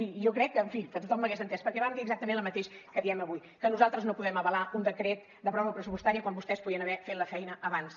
i jo crec que en fi que tothom m’hauria entès perquè vam dir exactament el mateix que diem avui que nosaltres no podem avalar un decret de pròrroga pressupostària quan vostès podien haver fet la feina abans